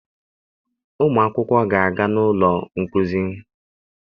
Ụmụ akwụkwọ ga-aga n'ọnụ ụlọ nkuzi.